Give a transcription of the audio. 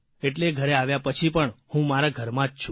એટલે ઘરે આવ્યા પછી પણ હું મારા ઘરમાં જ છું